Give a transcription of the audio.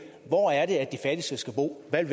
hvor er det de fattigste skal bo hvad